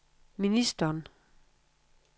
ministeren